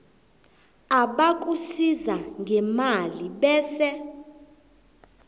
abakusiza ngemali bese